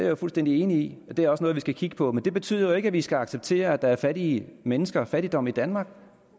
jo fuldstændig enig i det er også noget vi skal kigge på men det betyder jo ikke at vi skal acceptere at der er fattige mennesker og fattigdom i danmark